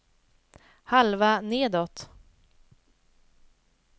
halva nedåt